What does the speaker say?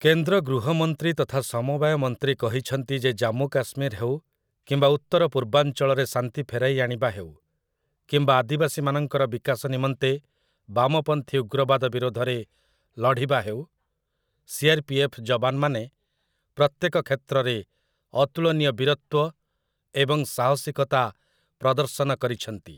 କେନ୍ଦ୍ର ଗୃହ ମନ୍ତ୍ରୀ ତଥା ସମବାୟ ମନ୍ତ୍ରୀ କହିଛନ୍ତି ଯେ ଜାମ୍ମୁ କାଶ୍ମୀର ହେଉ, କିମ୍ବା ଉତ୍ତର ପୁର୍ବାଞ୍ଚଳରେ ଶାନ୍ତି ଫେରାଇ ଆଣିବା ହେଉ, କିମ୍ବା ଆଦିବାସୀମାନଙ୍କର ବିକାଶ ନିମନ୍ତେ ବାମପନ୍ଥୀ ଉଗ୍ରବାଦ ବିରୋଧରେ ଲଢ଼ିବା ହେଉ, ସି.ଆର୍‌.ପି.ଏଫ୍‌. ଯବାନମାନେ ପ୍ରତ୍ୟେକ କ୍ଷେତ୍ରରେ ଅତୁଳନୀୟ ବୀରତ୍ୱ ଏବଂ ସାହସିକତା ପ୍ରଦର୍ଶନ କରିଛନ୍ତି ।